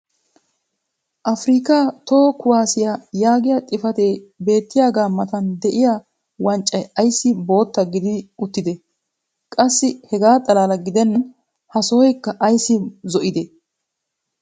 Afirikaa toho kuwaassiya yaagiya xifatee beettiyaaga matan diya wanccay ayssi bootta gidi uttidee? qassi hegaa xalaala gidennan ha sohoykka ayssi zo'idee?